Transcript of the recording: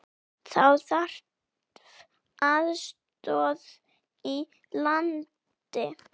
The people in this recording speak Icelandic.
Þá þarf aðstöðu í landi.